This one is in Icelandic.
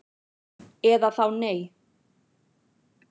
Eða þá nei